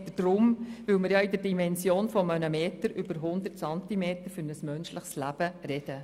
«Lebensmeter» deshalb, weil wir ja in der Dimension eines Meters über 100 Zentimeter für ein menschliches Leben reden.